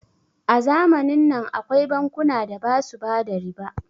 a zamanin nan akwai bankuna da basu bada riba